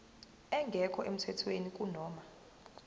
engekho emthethweni kunoma